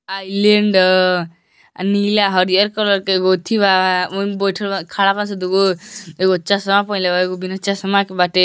Island अ नीला हरियल कलर का एगो उथ्थी बाओही में बाइठल ब खड़ा बा सब दुगो एगो चश्मा पहिनले बा एगो बिना चश्मा के बाटे।